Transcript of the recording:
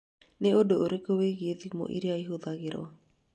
Nĩ ũndũ ũrĩkũ wĩgiĩ thimũ iria ihũthagĩrũo?